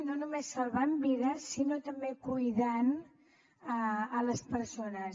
no només salvant vides sinó també cuidant les persones